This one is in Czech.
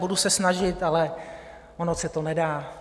Budu se snažit, ale ono se to nedá.